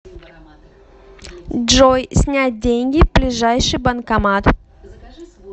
джой снять деньги ближайший банкомат